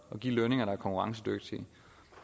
at give lønninger der er konkurrencedygtige